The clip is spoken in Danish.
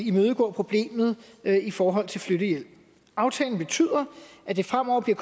imødegå problemet i forhold til flyttehjælp aftalen betyder at det fremover bliver